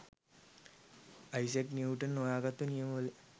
Isaac Newton හොයාගත්තු නියම වල